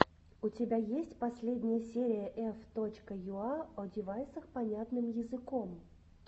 у тебя есть последняя серия ф точка юа о девайсах понятным языком